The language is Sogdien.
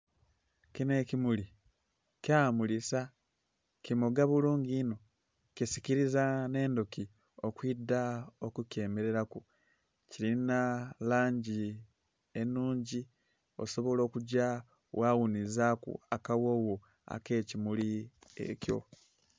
Kinho ekimuli kyamulisa, kimoga bulungi inho kisikiliza nh'endhuki okwidha okukyemelelaku. Kilinha langi enhungi, osobola okugya gha ghunhizaaku akaghoogho ak'ekimuli ekyo.